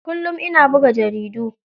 Kullum ana buga jaridu.